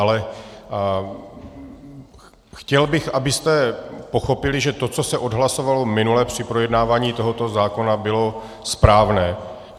Ale chtěl bych, abyste pochopili, že to, co se odhlasovalo minule při projednávání tohoto zákona, bylo správné.